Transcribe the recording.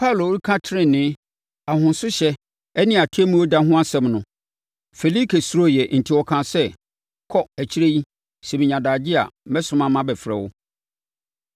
Paulo reka tenenee, ahosohyɛ ne Atemmuo da ho asɛm no, Felike suroeɛ enti ɔkaa sɛ, “Kɔ! Akyire yi, sɛ menya adagyeɛ a, mɛsoma mabɛfrɛ wo.”